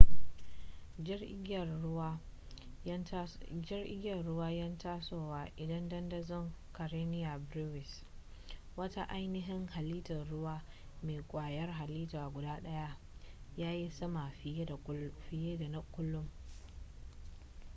jar igiyar ruwa yan tasowa idan dandazon karenia brevis wata ainihin halittar ruwa mai ƙwayar halitta guda ɗaya ya yi sama fiye na kullum